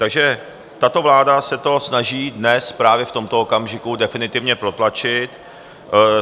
Takže tato vláda se to snaží dnes právě v tomto okamžiku definitivně protlačit.